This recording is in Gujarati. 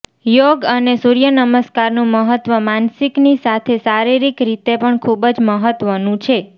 યોગ અને સૂર્યનમસ્કારનું મહત્વ માનસિકની સાથે શારિરીક રીતે પણ ખૂબજ મહત્વનું છે